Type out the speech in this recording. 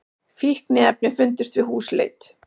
Fíkniefni fundust við húsleit